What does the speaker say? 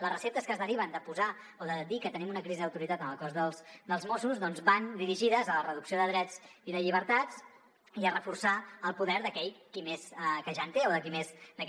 les receptes que es deriven de dir que tenim una crisi d’autoritat en el cos de mossos d’esquadra van dirigides a la reducció de drets i de llibertats i a reforçar el poder d’aquell que ja en té o de qui més en té